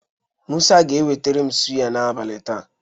Mụsa ga-eweterem suya n'abalị taa.